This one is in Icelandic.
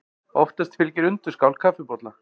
Oftast fylgir undirskál kaffibolla.